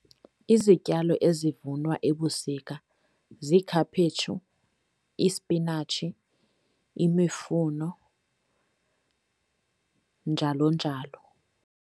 Izityalo ezivunwa ebusika ziikhaphetshu, ispinatshi, imifuno njalo njalo.